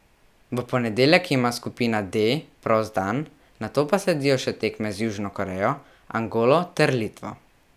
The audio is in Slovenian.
V ponedeljek ima skupina D prost dan, nato pa sledijo še tekme z Južno Korejo, Angolo ter Litvo.